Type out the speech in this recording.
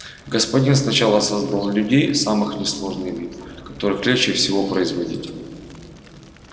господин сначала создал людей самых несложный вид который легче всего производить